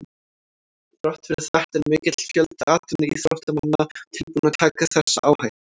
Þrátt fyrir þetta er mikill fjöldi atvinnuíþróttamanna tilbúinn að taka þessa áhættu.